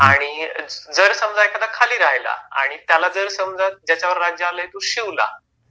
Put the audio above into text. आणि जर समजा एखादा खाली राहिला आणि त्याला जर समजा ज्याच्यावर राज्य आलंय तो शिवला